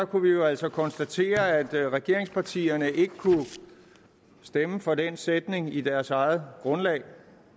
kunne vi jo altså konstatere at regeringspartierne ikke kunne stemme for den sætning i deres eget grundlag